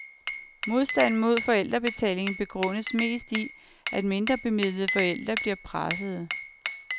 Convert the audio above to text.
Modstanden mod forældrebetaling begrundes mest i, at mindre bemidlede forældre bliver pressede.